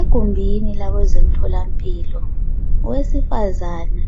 Egumbini labezemtholampilo owesifazana